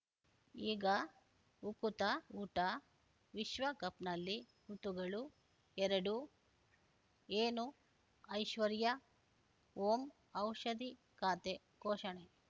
ಈಗ ಉಕುತ ಊಟ ವಿಶ್ವಕಪ್‌ನಲ್ಲಿ ಋತುಗಳು ಎರಡು ಏನು ಐಶ್ವರ್ಯಾ ಓಂ ಔಷಧಿ ಖಾತೆ ಘೋಷಣೆ